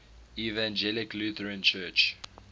evangelical lutheran church